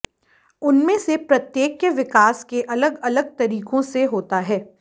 उनमें से प्रत्येक के विकास के अलग अलग तरीकों से होता है